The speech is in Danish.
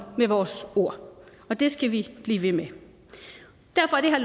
med vores ord og det skal vi blive ved med derfor er